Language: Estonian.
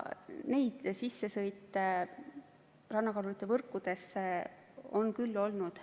Neid sissesõite rannakalurite võrkudesse on küll olnud.